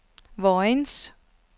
Vojens